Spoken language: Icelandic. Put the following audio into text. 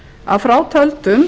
að frátöldum